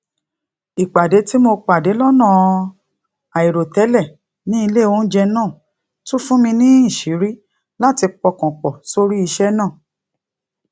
ìpàdé tí mo pàdé lónà àìròtélè ní ilé oúnjẹ náà tún fún mi níṣìírí láti pọkàn pò sórí iṣé náà